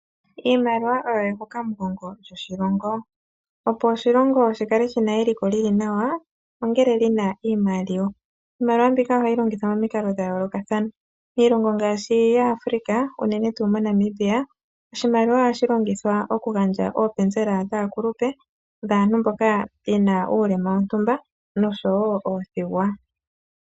Iimaliwa oyo ehukamugongo lyoshilongo. Opo oshilongo shi kale shi na eliko li li nawa ongele shi na iimaliwa. Iimaliwa mbika ohayi longithwa momikalo dha yoolokathana. Miilongo ngaashi yaAfrika unene tuu moNamibia, oshimaliwa ohashi longithwa okugandja oopenzela dhaakulupe, dhaantu mboka ye na uulema wontumba nosho wo oothigwa.